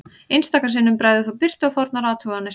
Einstaka sinnum bregður þó birtu á fornar athuganir.